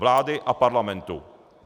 Vlády a parlamentu.